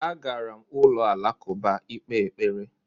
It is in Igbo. Agara m ụlọ alakụba ịkpe ekpere